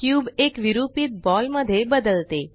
cube एक विरुपीत ball मध्ये बदलते